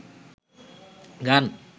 গান